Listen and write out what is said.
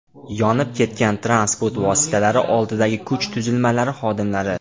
Yonib ketgan transport vositalari oldidagi kuch tuzilmalari xodimlari.